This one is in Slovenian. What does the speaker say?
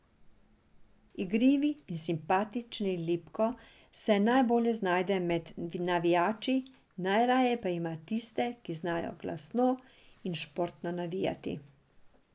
Igrivi in simpatični Lipko se najbolje znajde med navijači, najraje pa ima tiste, ki znajo glasno in športno navijati.